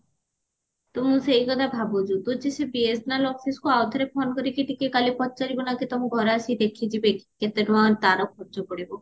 ତୁ ସେଇ କଥା ଭାବୁଚୁ ତୁ ସେଇ BSNL officeକୁ ଆଉ ଠାରେ phone କରିକି ଟିକେ କାଲି ପଚାରିବୁ ନା କି ତମ ଘରେ ଆସିକି ଦେଖିଯିବେ କି କେତେ ଟଙ୍କା ତାର ଖର୍ଚ ପଡିବ